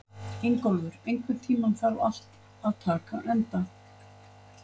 Ingólfur, einhvern tímann þarf allt að taka enda.